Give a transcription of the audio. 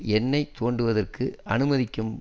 எண்ணெய் தோண்டுவதற்கு அனுமதிக்கும்